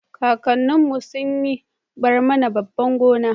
kakannin mu sun yi barmana babban gona